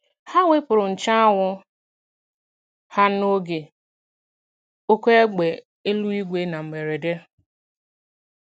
Ha wepụrụ nche anwụ ha n'oge oké égbè eluigwe na mberede.